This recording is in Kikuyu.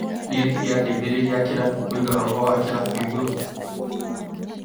Nĩetire ateithĩrĩria a kĩrabu kũiga roho wa kĩrabu igũrũ